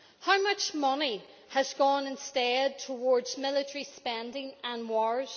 How much money has gone instead towards military spending and wars?